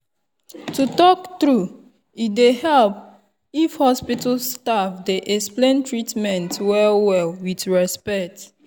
to talk true e dey help if hospital staff dey fit explain treatment well-well with respect.